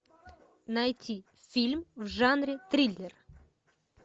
найти фильм в жанре триллер